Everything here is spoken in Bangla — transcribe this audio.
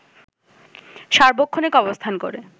সার্বক্ষণিক অবস্থান করে